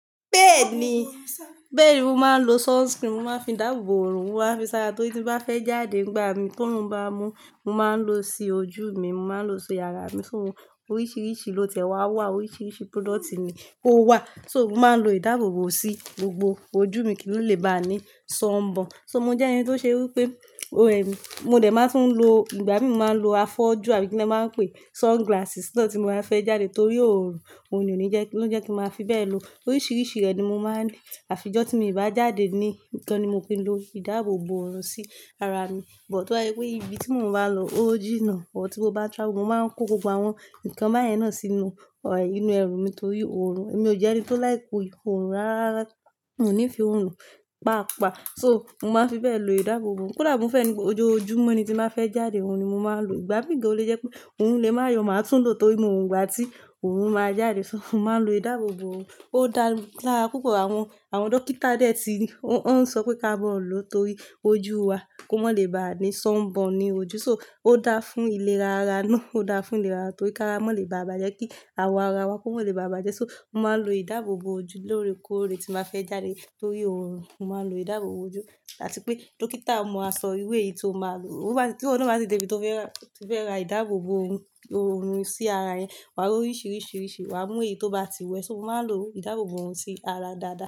Bẹ́ẹ̀ ni, bẹ́ẹ̀ni mo máa ń lo sunscreen, mo máa ń fi dáàbò bo òòrùn, mo máa ń fi sára torí tí n bá fẹ́ jáde nígbà mìíràn tí òòrùn bá mú, mo máa ń lò ó sí ojú mi, mo máa ń lò ó sí ara mi. So oríṣiríṣi ló tiẹ̀ wá wà, oríṣiríṣi product ni ó wà. So mo máa ń lo ìdáàbò bo sí gbogbo ojú mi kí ó lè bá ni sunburn. So mo jẹ́ ẹni tó ṣe wí pé, o eh, mo dẹ̀ máa tún lo, ìgbà mí mo máa ń lo afọ́jú àbí kí ni wọ́n máa ń pè sunglasses náà tí mo bá fẹ́ jáde torí òòrùn, òòrùn ò ní jẹ́, ló ń jẹ́ kí n máa fi bẹ́ẹ̀ lo. Oríṣiríṣi rẹ̀ ni mo máa ń lo. Àfi ọjọ́ tí mi o bá jáde ni, nìkan ni mo kin lo ìdáàbò bo òòrùn sí ara mi. But tó bá je wípé ibi tí mo bá n lọ ò jínna, or tí mo bá n travel, mo máa ń kó gbogbo àwọn nǹkan báyen náà sínú, inú ẹrù mi torí òòrùn. Èmi ò jẹ́ ẹni tó like òòrùn rárá. Mi o nífẹ̀ẹ́ òòrùn paapáa. So mo máa ń fi bẹ́ẹ̀ lo ìdáàbò bo òòrùn. Kódà bi mo feẹ́ ni gbogbo ojoojúmọ́ ni tí n bá fẹ́ jáde, òhun ni mo máa ń lò o. Ìgbà mí gan lo jẹ́ pé òòrun lè máa yọ, màá tún lò torí mo mọ ìgbà tí òòrùn máa jáde. So mo máa ń lo ìdáàbò bo òòrùn. Ó dára púpọ̀. Àwọn, àwọn dókítà dẹ̀ ti, wọ́n ń sọ pé ká mọ́ ọ̀ lọ torí ojú wa kó má lè bá a ní sunburn ni ojú. So ó dáa fún ìlera ara náà, ó dáa fún ìlera torí ki ará mọ́ lè bá a bàjẹ́ kí àwọ̀ ara wa kó má lè bá a bàjẹ́. So mo máa ń lo ìdáàbò bo ojú lóòrèkóòrè tín bá fẹ́ jáde torí òòrùn. Mo máa ń lo ìdáàbò bo ojú. Áti pé dókítà mọ aṣọ irú èyí yìí tó máa lò. Ó bá ti, tí iwo náà bá ti dé ibi tó fẹ́ ra, tó fẹ́ ra ìdáàbò bo òòrùn sí ara e. Wà á ra oríṣiríṣi risi, wà á mú èyí tó bá ti wu ẹ̀. So mo máa ń lo ìdáàbò bo òòrùn sí ara dáadáa.